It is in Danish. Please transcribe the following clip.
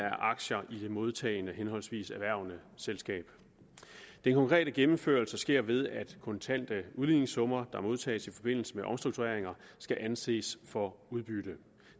aktier i det modtagende henholdsvis erhvervende selskab den konkrete gennemførelse sker ved at kontante udligningssummer der modtages i forbindelse med omstruktureringer skal anses for udbytte